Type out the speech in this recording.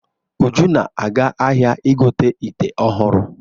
Uju na-aga ahia igote ìtè ọhụrụ.